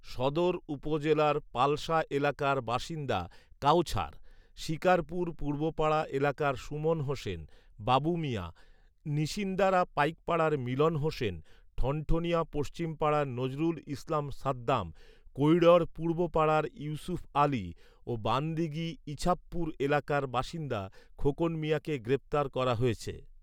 সদর উপজেলার পালশা এলাকার বাসিন্দা কাওছার, শিকারপুর পূর্বপাড়া এলাকার সুমন হোসেন, বাবু মিয়া, নিশিন্দারা পাইকারপাড়ার মিলন হোসেন, ঠনঠনিয়া পশ্চিমপাড়ার নজরুল ইসলাম সাদ্দাম, কৈঢ়র পূর্বপাড়ার ইউসুফ আলী ও বানদীঘি ইছাবপুর এলাকার বাসিন্দা খোকন মিয়াকে গ্রেফতার করা হয়েছে